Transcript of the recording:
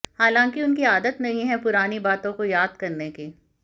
हालांकि उनकी आदत नहीं है पुरानी बातों को याद करने की